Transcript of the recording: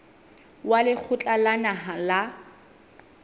wa lekgotla la naha la